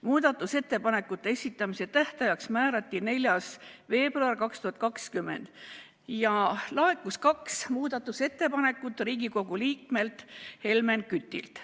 Muudatusettepanekute esitamise tähtajaks määrati 4. veebruar 2020 ja laekus kaks muudatusettepanekut Riigikogu liikmelt Helmen Kütilt.